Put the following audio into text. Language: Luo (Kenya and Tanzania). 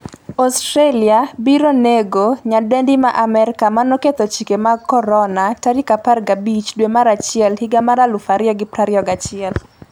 Australia biro nego nyadendi ma Amerka manoketho chike mag Corona' 15 dwe mar achiel 2021